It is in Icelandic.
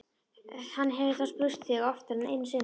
Hann hefur þá spurt þig oftar en einu sinni?